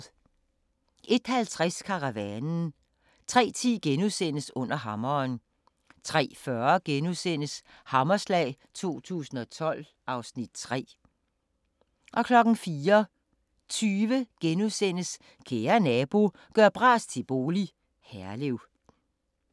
01:50: Karavanen 03:10: Under hammeren * 03:40: Hammerslag 2012 (Afs. 3)* 04:20: Kære Nabo – gør bras til bolig – Herlev *